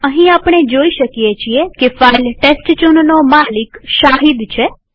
અહીં આપણે જોઈ શકીએ છીએ કે ફાઈલ testchownનો માલિક શાહિદ છે